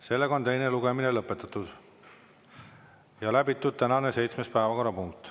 Sellega on teine lugemine lõpetatud ja läbitud tänane seitsmes päevakorrapunkt.